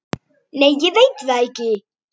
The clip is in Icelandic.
Nei ég veit það ekki.